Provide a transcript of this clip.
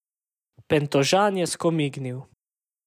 Pentožan je skomignil.